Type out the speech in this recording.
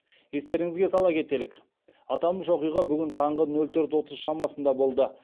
естеріңізге сала кетелік аталмыш оқиға бүгін таңғы нөл төрт отыз шамасында болды